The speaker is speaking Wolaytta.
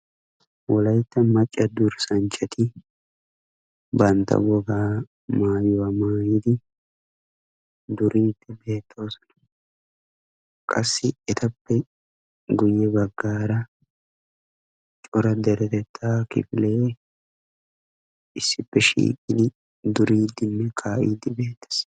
Wolayitta macca durssanchchati bantta wogaa mayuwa mayidi duriiddi beettoosona. Qassi etappe guyye baggaara cora deretettaa kifile issippe shiiqidi duriiddinne kaa'iiddi beettees.